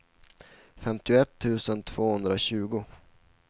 femtioett tusen tvåhundratjugo